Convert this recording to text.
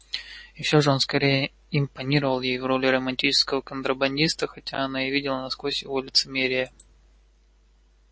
и всё же он скорее импонировал ей в роли романтического контрабандиста хотя она и видела насквозь его лицемерие